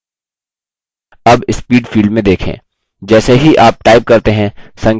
ध्यान दें जैसे ही हम type करते हैं characters students line में प्रदर्शित होते हैं